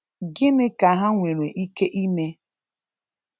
Gịnị ka ha nwere ike ime?